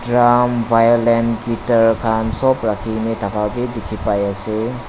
kam violent guitar khan sop rakhi kena thaki dekha pai ase.